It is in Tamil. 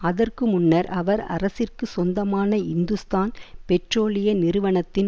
அதற்கு முன்னர் அவர் அரசிற்கு சொந்தமான இந்துஸ்தான் பெட்ரோலிய நிறுவனத்தின்